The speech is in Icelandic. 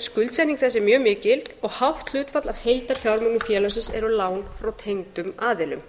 skuldsetning þess er mjög mikil og hátt hlutfall af heildarfjármunum félagsins eru lán frá tengdum aðilum